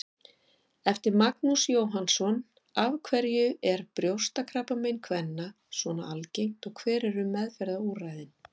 Eftir Magnús Jóhannsson Af hverju er brjóstakrabbamein kvenna svona algengt og hver eru meðferðarúrræðin?